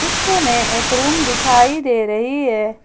दृश्य में एक रूम दिखाई दे रही है।